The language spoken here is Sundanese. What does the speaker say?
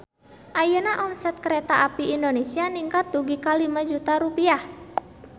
Ayeuna omset Kereta Api Indonesia ningkat dugi ka 5 juta rupiah